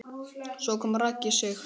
Svo kom Raggi Sig.